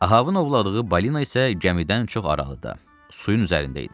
Ahavın ovladığı balina isə gəmidən çox aralıda, suyun üzərində idi.